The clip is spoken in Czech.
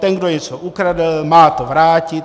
Ten, kdo něco ukradl, má to vrátit.